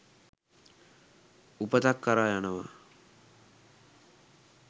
උපතක් කරා යනවා.